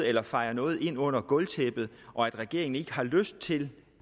eller fejer noget ind under gulvtæppet og regeringen ikke har lyst til